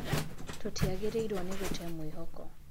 Tũtiagĩrĩirwo nĩ gũte mwĩhoko.